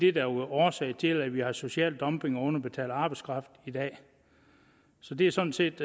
er årsag til at vi har social dumping og underbetalt arbejdskraft i dag så det er sådan set